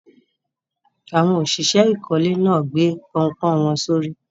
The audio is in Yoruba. Awọn ọ̀ṣìṣẹ̀ ìkọ̀lẹ̀ na gbè pọ̀npọ́n wọn sọ̀rí.